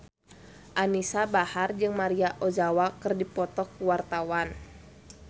Anisa Bahar jeung Maria Ozawa keur dipoto ku wartawan